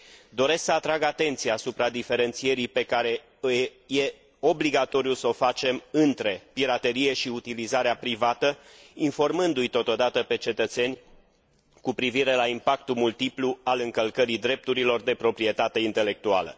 Doresc să atrag atenția asupra diferențierii pe care este obligatoriu s o facem între piraterie și utilizarea privată, informându i totodată pe cetățeni cu privire la impactul multiplu al încălcării drepturilor de proprietate intelectuală.